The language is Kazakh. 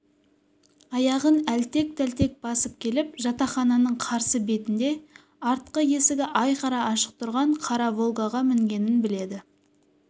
аяғын әлтек-тәлтек басып келіп жатақхананың қарсы бетінде артқы есігі айқара ашық тұрған қара волгаға мінгенін біледі